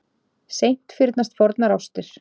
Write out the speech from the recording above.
Seint fyrnast fornar ástir.